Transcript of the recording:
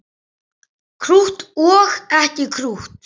Krútt og ekki krútt.